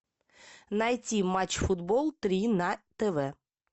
найти матч футбол три на тв